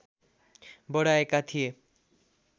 बढाएका थिए